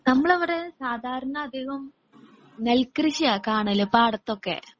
നമ്മളവിടെ സാധാരണ അധികം നെൽകൃഷിയാ കാണല് പാടത്തൊക്കെ.